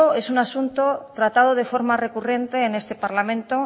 es un asunto tratado de forma recurrente en este parlamento